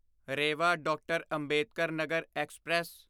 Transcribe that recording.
Rewa DR. Ambedkar Nagar express